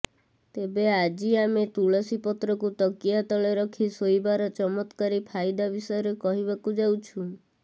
ତେବେ ଆଜି ଆମେ ତୁଳସୀ ପତ୍ରକୁ ତକିଆ ତଳେ ରଖି ଶୋଇବାର ଚତ୍ମକାରୀ ଫାଇଦା ବିଷୟରେ କହିବାକୁ ଯାଉଛୁ